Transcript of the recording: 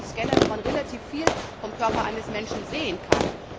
Das sind wirklich Scanner, wo man relativ viel vom Körper eines Menschen sehen kann.